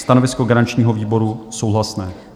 Stanovisko garančního výboru: souhlasné.